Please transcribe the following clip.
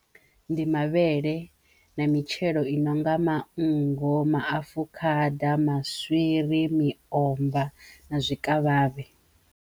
Ndi mavhele na mitshelo i no nga manngo, maafukhada, maswiri, miomva na zwi zwikavhavhe.